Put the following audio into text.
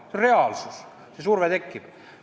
On reaalsus, et see surve tekib.